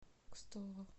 кстово